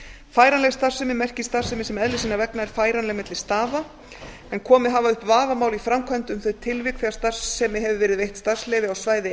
færanleg starfsemi merki starfsemi sem eðli sinnar vegna er færanleg milli staða en komið hafa upp vafamál í framkvæmd um þau tilvik þegar starfsemi hefur verið veitt starfsleyfi á svæði